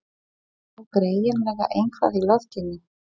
Það lá greinilega eitthvað í loftinu.